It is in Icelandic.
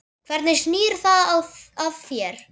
Hvernig snýr það að þér?